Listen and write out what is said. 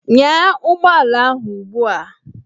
Nyaa ụgbọala ahụ ugbu a!